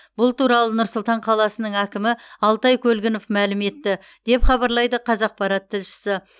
бұл туралы нұр сұлтан қаласының әкімі алтай көлгінов мәлім етті деп хабарлайды қазақпарат тілшісі